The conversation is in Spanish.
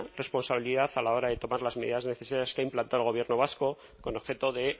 responsabilidad a la hora de tomar las medidas necesarias que ha implantado el gobierno vasco con objeto de